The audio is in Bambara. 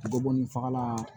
Bɔ ni fagalan